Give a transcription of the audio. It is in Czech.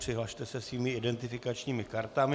Přihlaste se svými identifikačními kartami.